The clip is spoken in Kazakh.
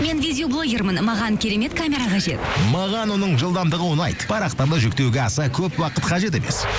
мен видеоблогермін маған керемет камера қажет маған оның жылдамдығы ұнайды парақтарды жүктеуге аса көп уақыт қажет емес